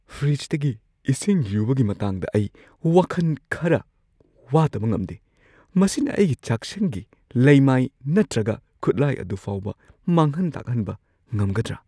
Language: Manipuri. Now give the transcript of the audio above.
ꯐ꯭ꯔꯤꯖꯇꯒꯤ ꯏꯁꯤꯡ ꯌꯨꯕꯒꯤ ꯃꯇꯥꯡꯗ ꯑꯩ ꯋꯥꯈꯟ ꯈꯔꯥ ꯋꯥꯗꯕ ꯉꯝꯗꯦ-ꯃꯁꯤꯅ ꯑꯩꯒꯤ ꯆꯥꯛꯁꯪꯒꯤ ꯂꯩꯃꯥꯏ ꯅꯠꯇ꯭ꯔꯒ ꯈꯨꯠꯂꯥꯏ ꯑꯗꯨ ꯐꯥꯎꯕ ꯃꯥꯡꯍꯟ-ꯇꯥꯛꯍꯟꯕ ꯉꯝꯒꯗ꯭ꯔ ?